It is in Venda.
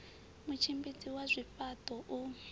mutshimbidzi wa zwifha ṱo u